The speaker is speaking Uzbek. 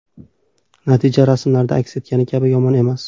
Natija rasmlarimda aks etgani kabi yomon emas.